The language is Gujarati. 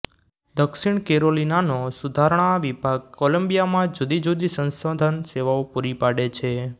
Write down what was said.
દક્ષિણ કેરોલિનાનો સુધારણા વિભાગ કોલંબિયામાં જુદી જુદી સંશોધન સેવાઓ પૂરી પાડે છે